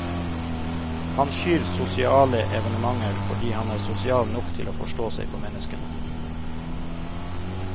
Han skyr sosiale evenementer fordi han er sosial nok til å forstå seg på menneskene.